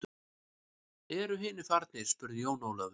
Eru hinir farnir spurði Jón Ólafur.